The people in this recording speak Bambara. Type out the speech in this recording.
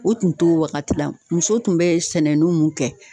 O tun t'o wagati la, muso tun bɛ sɛnɛni mun kɛ